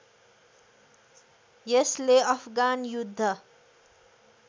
यसले अफगान युद्ध